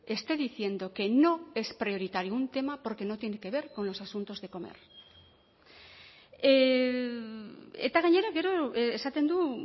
esté diciendo que no es prioritario un tema porque no tiene que ver con los asuntos de comer eta gainera gero esaten du